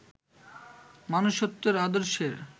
মনুষ্যত্বের আদর্শের